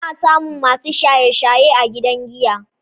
Ana samun masu shaye-shaye a gidan giya.